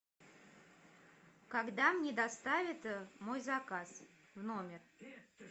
когда мне доставят мой заказ в номер